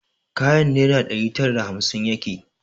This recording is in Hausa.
Kayan naira ɗari tara da hamsin yake